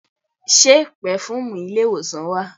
Ṣe pẹ̀fùmì ilé ìwòsàn wà?